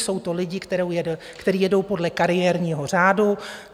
Jsou to lidé, kteří jedou podle kariérního řádu.